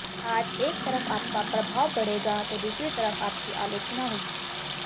आज एक तरफ आपका प्रभाव बढ़ेगा तो दूसरी तरफ आपकी आलोचना होगी